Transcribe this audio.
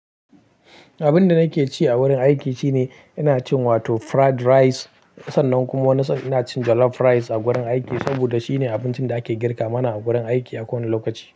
Abinda nake ci a wurin aiki shine ina cin wato fried rice, sannan kuma wani sa'a ina cin jollof rice a gurin aiki saboda shine abincin da ake girka mana a gurin aiki a kowane lokaci.